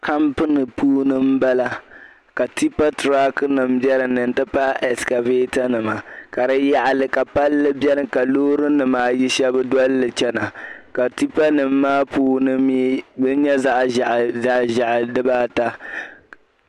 Campini puuni m-bala ka tipa "truck"nima be dinni n-ti pahi escabaatanima ka di yaɣili ka palli beni ka loorinima ayi shɛba doli li chana ka tipanima maa puuni mii di nyɛ zaɣ'ʒehi dibaata.